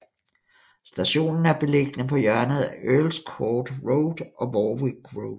Stationen er beliggende på hjørnet af Earls Court Road og Warwick Road